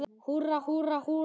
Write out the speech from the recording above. Húrra, húrra, húrra!